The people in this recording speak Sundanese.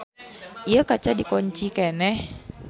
Ieu kaca dikonci keneh.